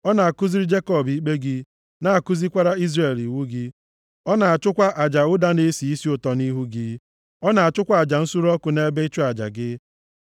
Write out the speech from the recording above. Ọ na-akụziri Jekọb ikpe gị, na-akụzikwara Izrel iwu gị. Ọ na-achụkwa aja ụda na-esi isi ụtọ nʼihu gị, na-achụkwa aja nsure ọkụ nʼebe ịchụ aja gị.